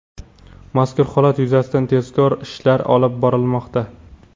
mazkur holat yuzasidan tezkor ishlar olib borilmoqda.